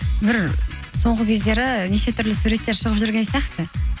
бір соңғы кездері неше түрлі суреттер шығып жүрген сияқты